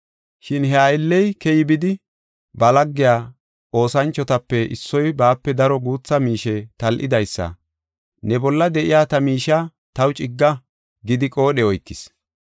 “Shin he aylley keyi bidi ba lagge oosanchotape issoy baape daro guutha miishe tal7idaysa, ‘Ne bolla de7iya ta miishiya taw cigga’ gidi qoodhe oykis.